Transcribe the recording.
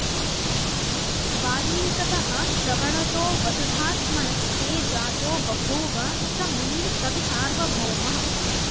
वल्मीकतः श्रवणतो वसुधात्मनस्ते जातो बभूव स मुनिः कवि सार्वभौमः